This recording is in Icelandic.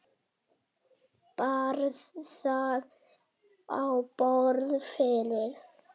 Bar það á borð fyrir